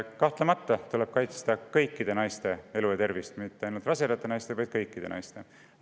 Kahtlemata tuleb kaitsta kõikide naiste elu ja tervist, mitte ainult rasedate naiste oma, vaid kõikide naiste oma.